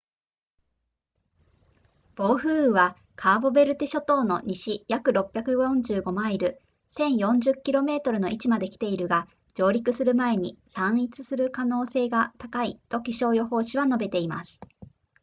暴風雨は、カーボベルデ諸島の西約645マイル1040 km の位置まで来ているが、上陸する前に散逸する可能性が高いと気象予報士は述べています